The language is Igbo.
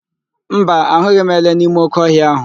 Mba, ahụghị m ele n'ime óké ọhịa ahụ.